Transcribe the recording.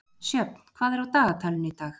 Sjöfn, hvað er á dagatalinu í dag?